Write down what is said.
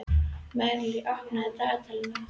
Marley, opnaðu dagatalið mitt.